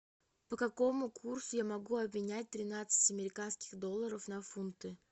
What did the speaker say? по какому курсу я могу обменять тринадцать американских долларов на фунты